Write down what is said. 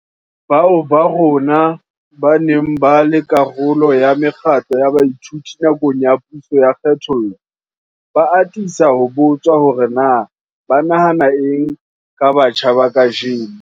Bao ba rona ba neng ba le karolo ya mekgatlo ya baithuti nakong ya puso ya kgethollo, ba atisa ho botswa hore na ba nahana eng ka batjha ba kajeno.